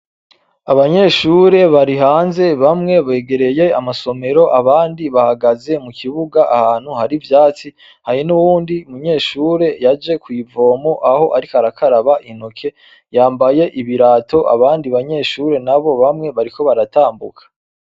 Abanyeshure bari hanze bamwe begereye amasomero abandi bahagaze mu kibuga ahantu hari ivyatsi hari n'uwundi munyeshure yaje kw'ivomo aho ariko arakaraba intoke yambaye ibirato abandi banyeshure na bo bamwe bariko baratambuka.